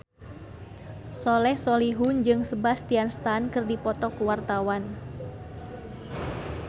Soleh Solihun jeung Sebastian Stan keur dipoto ku wartawan